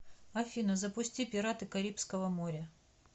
афина запусти пираты карибского моря